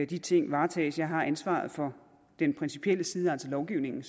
de ting varetages jeg har ansvaret for den principielle side altså lovgivningen